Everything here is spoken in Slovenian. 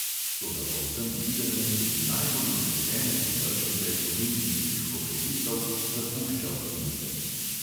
Toda po vsem videnem tudi najbolj vznesene privržence olimpijinih hokejistov zapušča optimizem.